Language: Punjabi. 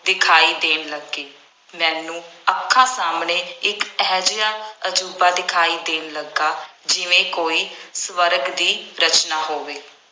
ਦਿਖਾਈ ਦੇਣ ਲੱਗੀ। ਮੈਨੂੰ ਅੱਖਾਂ ਸਾਹਮਣੇ ਇੱਕ ਇਹੋ ਜਿਹਾ ਅਜੂਬਾ ਦਿਖਾਈ ਦੇਣ ਲੱਗਾ ਜਿਵੇਂ ਕੋਈ ਸਵਰਗ ਦੀ ਰਚਨਾ ਹੋਵੇ।